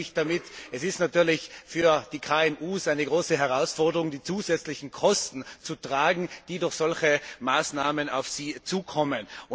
Was meine ich damit? Es ist natürlich für die KMU eine große Herausforderung, die zusätzlichen Kosten zu tragen, die durch solche Maßnahmen auf sie zukommen.